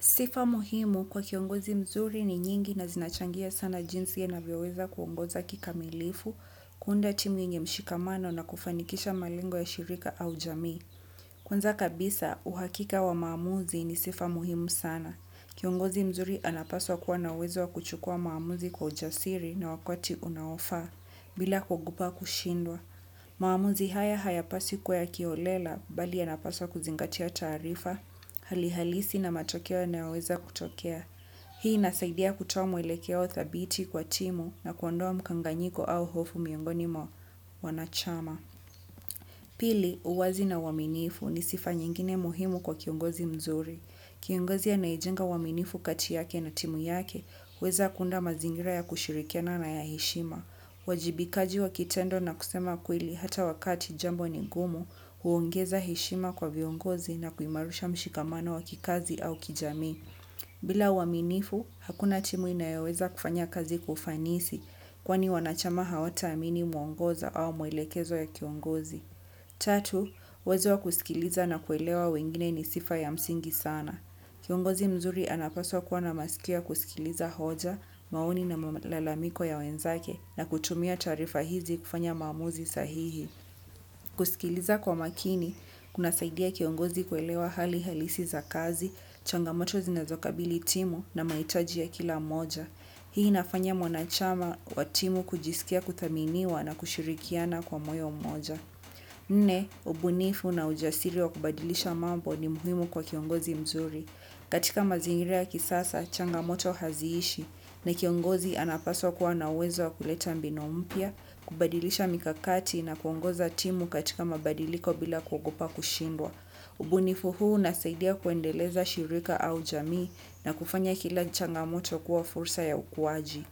Sifa muhimu kwa kiongozi mzuri ni nyingi na zinachangia sana jinsi anavyo weza kuongoza kika milifu, kuunda timu yenye mshikamano na kufanikisha malengo ya shirika au jamii. Kwanza kabisa, uhakika wa maamuzi ni sifa muhimu sana. Kiongozi mzuri anapaswa kuwa na uwezo wa kuchukua maamuzi kwa ujasiri na wakati unaofaa, bila kuogopa kushindwa. Maamuzi haya hayapasi kuwa ya kiholela, bali yanapasa kuzingatia tarifa, halihalisi na matokeo na yanaoweza kutokea. Hii inasaidia kutoa mwelekeo thabiti kwa timu na kuondoa mkanganyiko au hofu miongoni mwa wanachama. Pili, uwazi na uaminifu ni sifa nyingine muhimu kwa kiongozi mzuri. Kiongozi anaye jenga uaminifu kati yake na timu yake, huweza kunda mazingira ya kushirikiana na ya heshima. Uwajibikaji wa kitendo na kusema kweli hata wakati jambo ni ngumu, huongeza heshima kwa viongozi na kuimarisha mshikamano wa kikazi au kijamii. Bila uaminifu, hakuna timu inayoweza kufanya kazi kwa ufanisi kwani wanachama hawata amini mwongoza au mwelekezo ya kiongozi. Tatu, uwezo wa kusikiliza na kuelewa wengine ni sifa ya msingi sana. Kiongozi mzuri anapaswa kuwana masikio ya kusikiliza hoja, maoni na malalamiko ya wenzake na kutumia tarifa hizi kufanya mamuzi sahihi. Kusikiliza kwa makini kunasaidia kiongozi kuelewa hali halisi za kazi, changamoto zinazo kabili timu na mahitaji ya kila mmoja. Hii inafanya mwanachama wa timu kujisikia kuthaminiwa na kushirikiana kwa moyo moja. Nne, ubunifu na ujasiri wa kubadilisha mambo ni muhimu kwa kiongozi mzuri. Katika mazingira ya kisasa, changamoto haziishi na kiongozi anapaswa kuwa na uwezo wa kuleta mbinu mpya, kubadilisha mikakati na kuongoza timu katika mabadiliko bila kuogopa kushindwa. Ubunifu huu nasaidia kuendeleza shirika au jamii na kufanya kila changamoto kuwa fursa ya ukuwaji.